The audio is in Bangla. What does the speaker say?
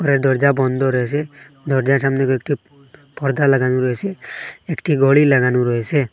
দরজা বন্ধ রয়েসে দরজার সামনে কয়েকটি পর্দা লাগানো রয়েসে একটি গোড়ি লাগানো রয়েসে ।